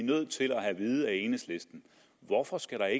nødt til at have vide af enhedslisten hvorfor skal